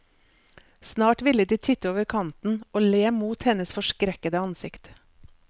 Snart ville de titte over kanten, og le mot hennes forskrekkede ansikt.